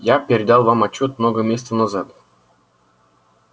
я передал вам отчёт много месяцев назад